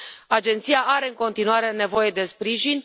Agenția are în continuare nevoie de sprijin.